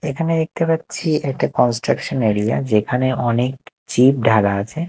এখানে দেখতে পাচ্ছি একটা কনস্ট্রাকশন এরিয়া যেখানে অনেক চিব ঢালা আছে।